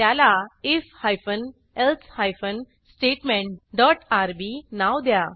त्याला IF hyphen else hyphen statement dot RB नाव द्या